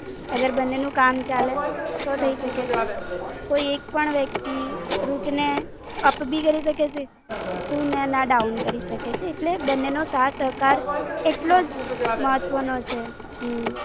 અગર બન્નેનું કામ ચાલે તો થઈ શકે છે. કોઈ એક પણ વ્યક્તિ, Rut ને અપ ભી કરે શકે છે, તું ને એના down કરી શકે છે. એટલે, બન્ને નો સાથ સહકાર એટલોજ મહત્ત્વ નો છે. હમમમ.